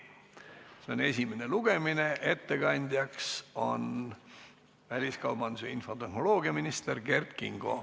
See on esimene lugemine, ettekandja on väliskaubandus- ja infotehnoloogiaminister Kert Kingo.